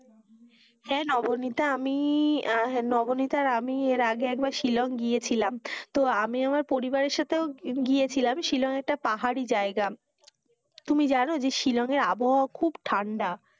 হেঁ, নবনীতা আমি নবনীতা আর আমি আগে একবার শিলং গিয়েছিলাম তো আমি আমার পরিবারের সাথেও গিয়েছিলাম, শিলং একটা পাহাড়ি জায়গা তুমি জানো যে শিলংয়ের আবহাওয়া খুব ঠান্ডা,